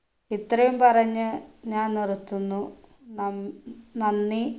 ഇത്രയും പറഞ്ഞ് ഞാൻ നിർത്തുന്നു നൻ നന്ദി